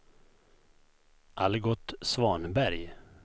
Algot Svanberg